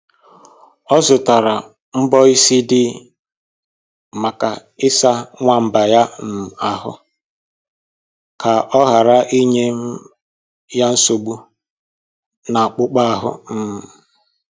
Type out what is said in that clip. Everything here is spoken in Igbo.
O zụtara mbọ isi dị maka ịsa nwamba ya um ahụ ka ọ ghara inye um ya nsogbu n'akpụkpọ ahụ um